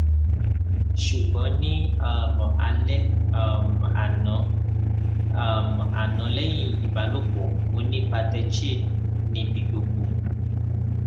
sugbon ni um ale um ano um ano lehin ibalopo mo ni patechiae ni bi gbogbo